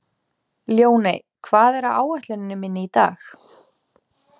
Ljóney, hvað er á áætluninni minni í dag?